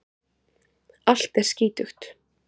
Allt er skítugt.